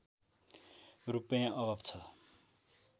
रूपैयाँ अभाव छ